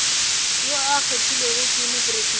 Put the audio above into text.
yo a kgethilwego ke mopresidente